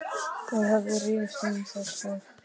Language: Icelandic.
Þeir Hörður rifust um það hvort